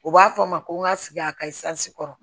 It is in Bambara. U b'a fɔ n ma ko n ka sigi a ka kɔrɔ